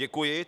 Děkuji.